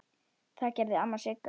Það gerði amma Sigga.